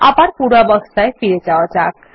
আবার পূর্বাবস্থায় ফিরে যাওয়া যাক